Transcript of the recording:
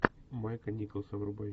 майка николса врубай